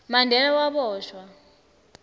mandela waboshwa